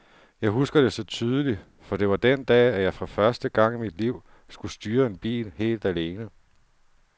Jeg husker det så tydeligt, for det var den dag, at jeg for første gang i mit liv skulle styre en bil helt alene.